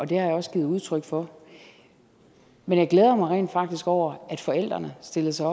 det har jeg også givet udtryk for men jeg glæder mig rent faktisk over at forældrene stillede sig